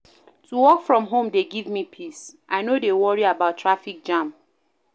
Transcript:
To work from home dey give me peace, I no dey worry about traffic jam.